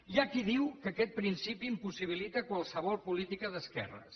hi ha qui diu que aquest principi impossibilita qualsevol política d’esquerres